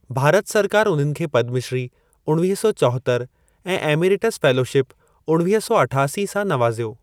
भारत सरकार उन्हनि खे पद्मश्री उणवीह सौ चोहत्तर ऐं एमेरिटस फेलोशिप उणवीह सौ अठासी सां नवाज़ियो।